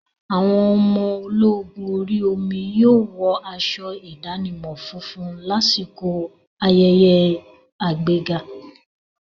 Àwọn ọmọ ológun orí omi yóò wọ aṣọ ìdánimọ̀ funfun lásìkò ayẹyẹ àgbéga.